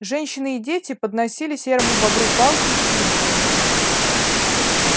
женщины и дети подносили серому бобру палки и сучья